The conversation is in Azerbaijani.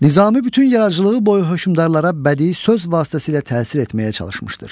Nizami bütün yaradıcılığı boyu hökmdarlara bədii söz vasitəsilə təsir etməyə çalışmışdır.